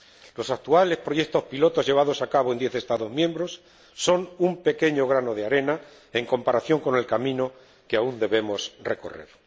Los actuales proyectos piloto llevados a cabo en diez Estados miembros son un pequeño grano de arena en comparación con el camino que aún debemos recorrer.